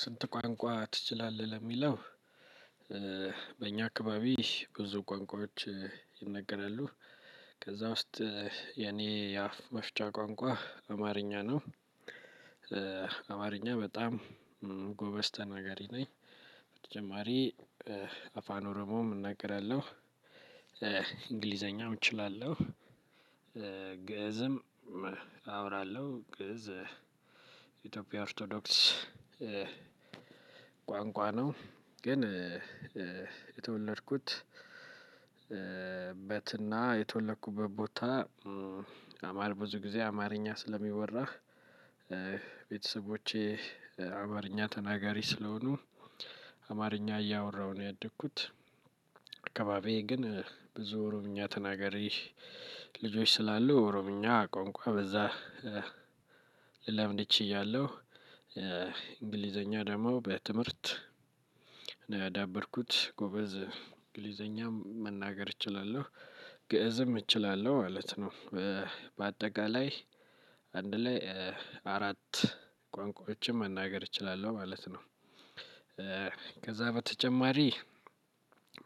ስንት? ቁአንቁአ ትችላለህ ለሚለው በእኛ አካባቢ ብዙ ቋንቋዎች ይነገራሉ ከዛ ውስጥ የኔ የአፍ መፍቻ ቋንቋ አማርኛ ነው። አማርኛ በጣም ጎበዝ ተናገሪ ነኝ። በተጨማሪ አፋን ኦሮሞም እናገራለሁ። እንግሊዘኛም እችላለሁ። ግእዝም አወራለሁ ግእዝ የኢትዮጵያ ኦርቶዶክስ ቋንቋ ነው። ግን የተወለድኩት በትና የተወለኩበት ቦታ በመሃል ብዙ ጊዜ አማርኛ ስለሚወራ። ቤተሰቦቼ አማርኛ ተናጋሪ ስለሆኑ አማርኛ እያወራሁ ነው ያደግኩት። አካባቢዬ ግን ብዙ ኦሮምኛ ተናገሪ ልጆች ስላሉ ኦሮምኛ ቋንቋ በዛ ልለምድ ችያለሁ። እንግሊዘኛ ደግሞ በትምህርት ነው ያዳበርኩት ጎበዝ እንግሊዘኛ መናገር እችላለሁ ግእዝም እችላለሁ ማለት ነው። በአጠቃላይ አንድ ላይ አራት ቋንቋዎችን መናገር እችላለሁ ማለት ነው። ከዛ በተጨማሪ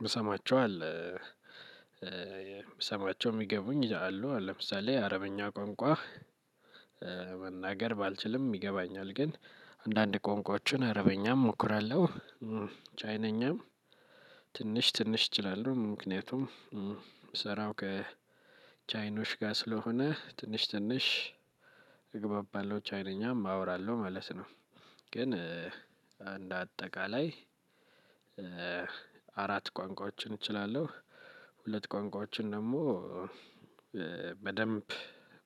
ምሰማቸው አለ። ብሰማቸው የሚገቡኝ አሉ ለምሳሌ የአረብኛ ቋንቋ መናገር ባልችልም ይገባኛል። ግን አንዳንድ ቆንቁአዎችን አረበኛም እሞክራለሁ። ቻይነኛም ትንሽ ትንሽ እችላለሁ ምክንያቱም ስራው ከቻይኖች ጋር ስለሆነ ትንሽ ትንሽ ቻይነኛም አወራለሁ መለስ ነው። ግን እንደ አጠቃላይ አራት ቋንቋዎችን እችላለሁ። ሁለት ቋንቋዎችን ደግሞ በደንብ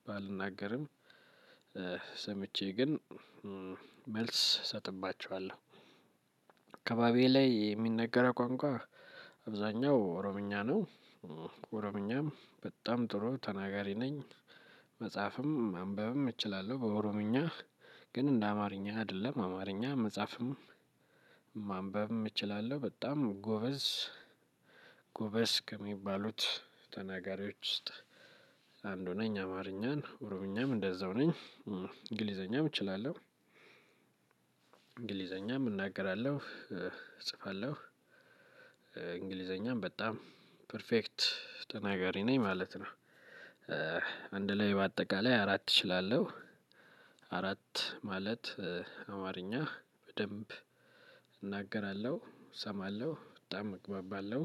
ባልናገርም ሰምቼ ግን መልስ እሰጥባቸዋለሁ። አካባቢዬ ላይ የሚነገረው ቋንቋ አብዛኛው ኦሮምኛ ነው። ኦሮምኛም በጣም ጥሩ ተናጋሪ ነኝ። መጽሐፍም ማንበብም እችላለሁ በኦሮምኛ ግን እንደ አማርኛ አይደለም አማርኛ መጻፍም ማንበብም እችላለሁ በጣም ጎበዝ። ጎበዝ ከሚባሉት ተናጋሪዎች ውስጥ አንዱ ነኝ አማርኛን ኦሮምኛም እንደዛው ነኝ። እንግሊዘኛም እችላለሁ። እንግሊዘኛም እናገራለሁ እጽፋለሁ እንግሊዘኛም በጣም ፐርፌክት ተናጋሪ ነኝ ማለት ነው። አንድ ላይ በአጠቃላይ አራት እችላለሁ አራት ማለት አማርኛ በደንብ እናገራለሁ እሰማለሁ በጣም እግባባለሁ።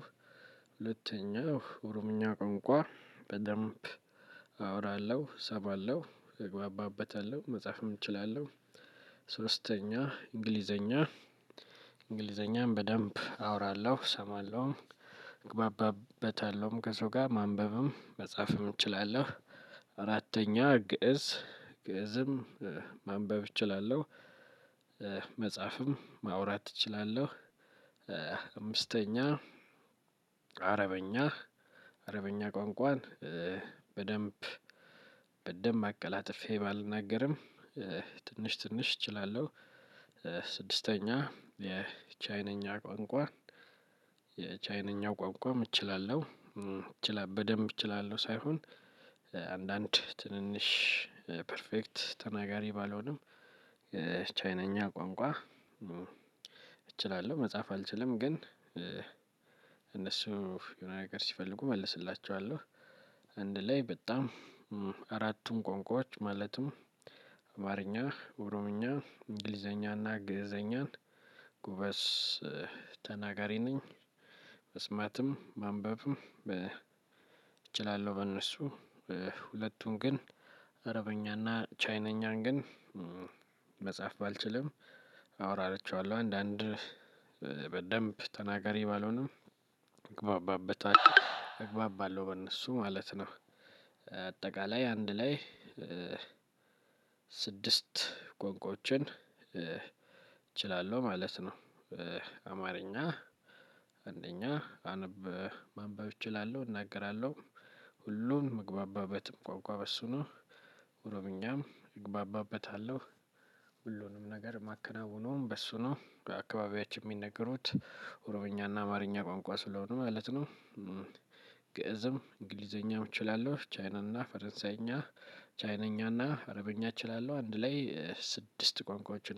ሁለተኛው ኦሮምኛ ቁአንቁአ በደንብ አወራለሁ ሰማለሁ እግባባበታለሁ። ሶስተኛ እንግሊዘኛ እንግሊዘኛም በደንብ አወራለሁ እሰማለሁ እግባባበታለሁም ከሰው ጋር ማንበብም መጻፍም እችላለሁ። አራተኛ ግእዝ ግእዝም ማንበብ እችላለሁ። መጻፍም ማውራት እችላለሁ። አምስተኛ አረብኛ አረብኛ ቋንቋን በደንብ በደንብ አቀላጥፌ ባልናገርም ትንሽ ትንሽ እችላለሁ። ስድስተኛ የቻይንኛ ቋንቋ የቻይንኛ ቋንቋም እችላለሁ በደንብ እችላለሁ ሳይሆን አንዳንድ ትንንሽ ፐርፌክት ተናጋሪ ባልሆንም ቻይነኛ ቋንቋ እችላለሁ መጻፍ አልችልም ግን እነሱ የሆነ ነገር ሲፈልጉ እመልስላቸዋለሁ። አንድ ላይ በጣም አራቱም ቁአንቁአዎች ማለትም አማርኛ ኦሮምኛ እንግሊዘኛ እና ግእዘኛን ጎበዝ ተናጋሪ ነኝ። መስማትም ማንበብም እችላለሁ በእነሱ ሁለቱም ግን አረበኛና ቻይንኛን ግን መጻፍ ባልችልም አወራቸዋለሁ አንዳንድ በደንብ ተናጋሪ ባልሆንም እግባባበታለሁ እግባባለሁ በእነሱ ማለት ነው። አጠቃላይ አንድ ላይ ስድስት ቁአንቁአዎችን እችላለሁ ማለት ነው። በእኛ አካባቢ ብዙ ቋንቋዎች ይነገራሉ። ከዛ ውስጥ የኔ የአፍ መፍቻ ቋንቋ አማርኛ ነው። አማርኛ በጣም ጎበዝ ተናገሪ ነኝ አፋን ኦሮሞም እናገራለሁ እንግሊዘኛም እችላለሁ ግእዝም አወራለሁ ግእዝ የኢትዮጵያ ኦርቶዶክስ ቋንቋ ነው ግን የተወለድኩት በትና የተወለኩበት ቦታ አማርኛ ብዙ ጊዜ አማርኛ ስለሚወራህ ቤተሰቦቼ አማርኛ ተናጋሪ ስለሆኑ አማርኛ እያወራሁ ነው ያደግኩት አካባቢዬ ግን ብዙ ኦሮምኛ ተናገሪ ልጆች ስላሉ ኦሮምኛ ቋንቋ በዛ